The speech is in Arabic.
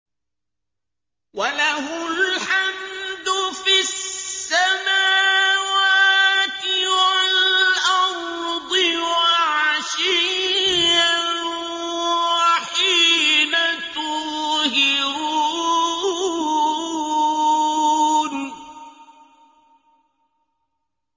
وَلَهُ الْحَمْدُ فِي السَّمَاوَاتِ وَالْأَرْضِ وَعَشِيًّا وَحِينَ تُظْهِرُونَ